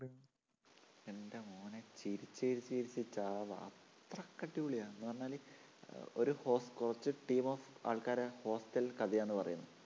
എൻറെ മോനെ ചിരിച്ചു ചിരിച്ചു ചിരിച്ചു ചാവാം അത്രക്ക് അടിപൊളിയാണ് എന്നുപറഞ്ഞാല് ഒരു കുറച്ചു team of ആൾക്കാരുടെ hostel കഥയാന്ന് പറയുന്നേ